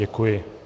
Děkuji.